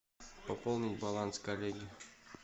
пополнить баланс коллеге